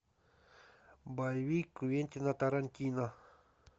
боевик квентина тарантино